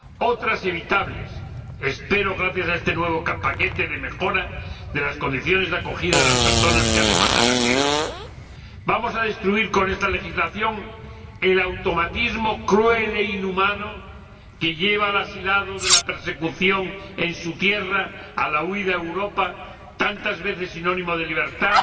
otras evitables espero gracias a este nuevo paquete de mejora de las condiciones de acogida de las personas que demandan asilo. Vamos a destruir con esta legislación el automatismo cruel e inhumano que lleva al asilado de la persecución en su tierra a la huida a Europa —tantas veces sinónimo de libertad—,